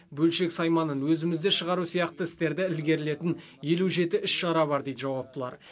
бөлшек сайманын өзімізде шығару сияқты істерді ілгерілетін елу жеті іс шара бар дейді жауаптылар